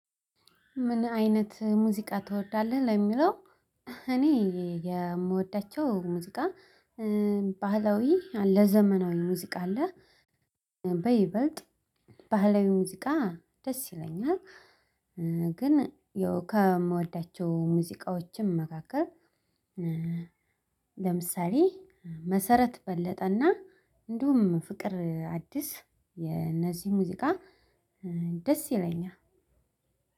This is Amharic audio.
ምን አይነት ሙዚቃ ትወዳለህ ለሚለው እኔ የምወዳቸው ሙዚቃ ባህላዊ አለ ዘመናዊ ሙዚቃ አለ በይበልጥ ባህላዊ ሙዚቃ ደስ ይለኛል። ግን ያው ከምወዳቸው ሙዚቃዎችም መካከል ለምሳሌ መሰረት በለጠ እና እንዲሁም ፍቅር አዲስ የነዚህ ሙዚቃ ደስ ይለኛል።